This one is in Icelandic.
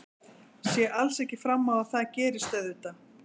Sé alls ekki fram á að það gerist auðvitað.